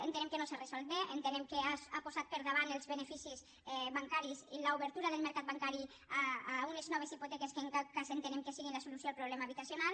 entenem que no s’ha resolt bé entenem que ha posat per davant els beneficis bancaris i l’obertura del mercat bancari a unes noves hipoteques que en cap cas entenem que siguin la solució al problema habitacional